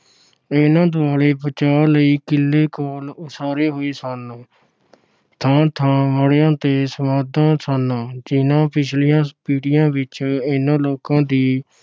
ਇਨ੍ਹਾਂ ਦੁਆਲੇ ਬਚਾਅ ਲਈ ਕਿੱਲੇ ਕੋਲ ਉਸਾਰੇ ਹੋਏ ਸਨ। ਥਾਂ ਥਾਂ ਮੜੀਆਂ ਤੇ ਸਮਾਧਾਂ ਸਨ, ਜਿਨ੍ਹਾਂ ਪਿਛਲੀਆਂ ਪੀੜੀਆਂ ਵਿਚ ਇਨ੍ਹਾਂ ਲੋਕਾਂ ਦੀ